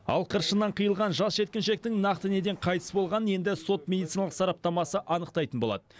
ал қыршынынан қиылған жас жеткіншектің нақты неден қайтыс болғанын енді сот медициналық сараптамасы анықтайтын болады